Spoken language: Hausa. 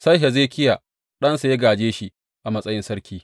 Sai Hezekiya ɗansa ya gāje shi a matsayin sarki.